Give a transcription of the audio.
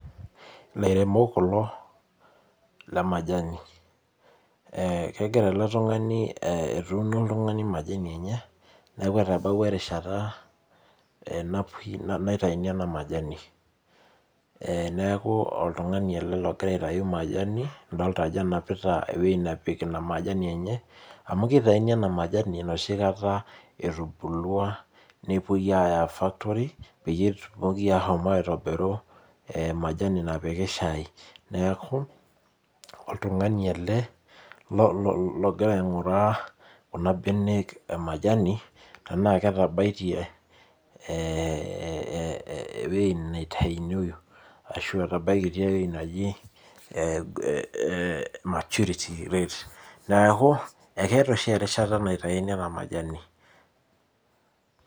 Ilairemok kulo le majani. Kegira ele tung'ani etuuno oltung'ani majani enye. Neeku etabawua erishata naitayuni ena majani. Neeku oltung'ani ele logira aitayu majani, adolta ajo enapita ewueji napik ina majani enye, amu kitayuni ena majani enoshi kata etubulua nepoi aya factory, peyie etumoki ashomo aitobiru majani napiki shai. Neeku, oltung'ani ele logira aing'uraa kuna benek e majani, tenaa ketabaitie ewei nitaunyoyu, ashua etabaikitia ewei naji maturity rate. Neeku, ekeeta oshi erishata naitauni ena majani.